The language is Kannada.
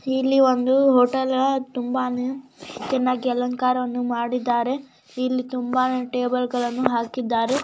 ಇಲ್ಲಿ ಬಂದು ಹೋಟೆಲ್ನ ತುಂಬಾ ಚೆನ್ನಾಗಿ ಅಲಂಕಾರ ಮಾಡಿದ್ದಾರೆ ಇಲ್ಲಿ ತುಂಬಾನೇ ಟೇಬಲ್ಗಳ್ಳನ ಹಾಕಿದ್ದಾರೆ.